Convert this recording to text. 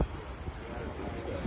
Allah can sağlığı versin.